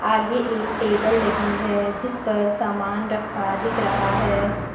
आगे एक टेबल लगी है जिस पर सामान रखा दिख रहा है।